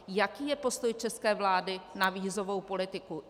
Jaký je postoj české vlády na vízovou politiku?